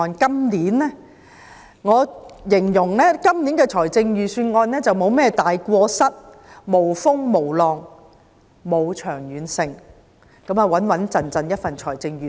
我會形容今年的預算案沒有甚麼大過失，無風無浪，沒有長遠性，只是一份穩健的預算案。